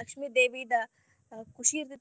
ಲಕ್ಷ್ಮಿ ದೇವಿದ ಖುಷಿ ಇರ್ತೇತ.